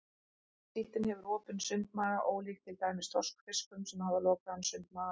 Síldin hefur opinn sundmaga ólíkt til dæmis þorskfiskum sem hafa lokaðan sundmaga.